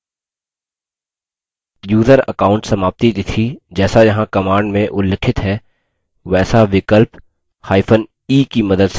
user account समाप्ति तिथि जैसा यहाँ command में उल्लिखित है वैसा विकल्प e की मदद से निर्धारित हो जाएगी